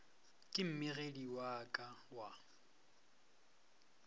ke mmegedi wa ka wa